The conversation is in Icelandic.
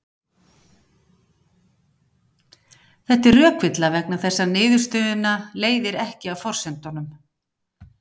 Þetta er rökvilla vegna þess að niðurstöðuna leiðir ekki af forsendunum.